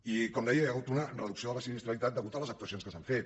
i com deia hi ha hagut una reducció de la sinistralitat deguda a les actuacions que s’han fet